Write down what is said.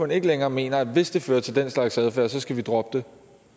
ikke længere mener at hvis det fører til den slags adfærd så skal vi droppe